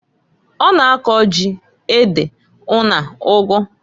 Ọ na-ako ji, ede, una ụgụ.